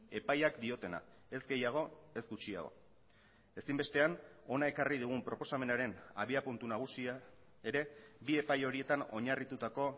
epaiak diotena ez gehiago ez gutxiago ezinbestean hona ekarri dugun proposamenaren abiapuntu nagusia ere bi epai horietan oinarritutako